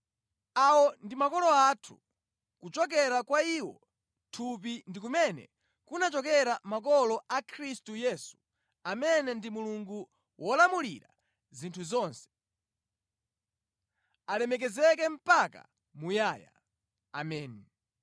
Awo ndi makolo athu. Kuchokera kwa iwo mʼthupi ndi kumene kunachokera makolo a Khristu Yesu amene ndi Mulungu wolamulira zinthu zonse, alemekezeke mpaka muyaya! Ameni.